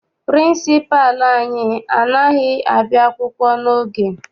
Pịrịnsịpalụ anyị anaghị abịa akwụkwọ n'oge.